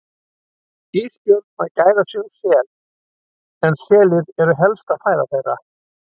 Ísbjörn að gæða sér á sel en selir eru helsta fæða þeirra.